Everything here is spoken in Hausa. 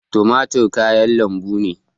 Tumatir kayan lambu ne